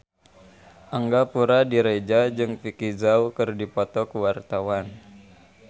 Angga Puradiredja jeung Vicki Zao keur dipoto ku wartawan